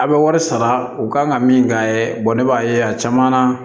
A' bɛ wari sara u kan ka min k'a ye ne b'a ye a caman na